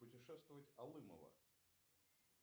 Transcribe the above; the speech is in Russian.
путешествовать алымова